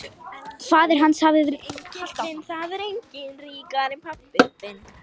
Faðir hans hafði verið felmtri sleginn þegar kirkjugriðin voru rofin.